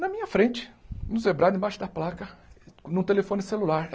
na minha frente, no zebrado, embaixo da placa, num telefone celular.